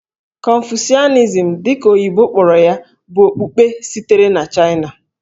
Confucianism, dị ka oyibo kpọrọ ya, bụ okpukpe sitere na Chaịna.